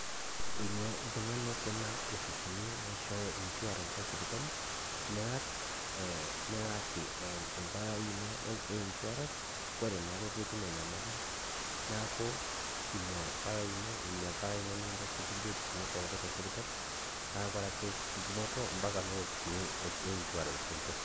Ingóru oltungani kuna opisini naishooyo insurance te sipitali neyaki empalai ino koree naake piitum enyamali neaku ina palai ina nikintasheiki biotisho ino te sipitali nawore naake entumoto mpaka pewoshokini nkopisini einsurances